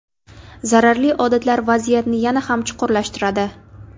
Zararli odatlar vaziyatni yana ham chuqurlashtiradi.